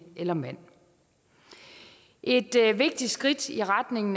eller mand et vigtigt skridt i retning